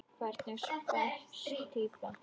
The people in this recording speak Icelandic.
Hvernig spes týpa?